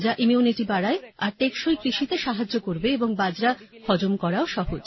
যা ইমিউনিটি বাড়ায় আর টেকসই কৃষিতে সাহায্য করবে এবং বাজরা হজম করাও সহজ